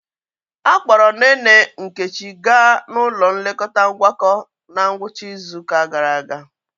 Akpọrọ nne nne Nkechi gaa n'ụlọ nlekọta Ngwakọ na ngwụcha izu ụka gara aga.